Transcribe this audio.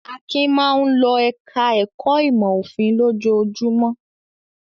Akin máa ń lọ ẹ̀ka-ẹ̀kọ́ ìmọ̀-òfin lójoojúmọ́.